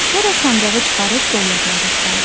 Sonra sancağı çıxarıb dollarları saydı.